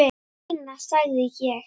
Seinna sagði ég.